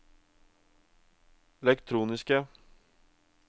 elektroniske